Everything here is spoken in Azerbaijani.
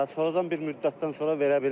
Sonradan bir müddətdən sonra verə bilmir.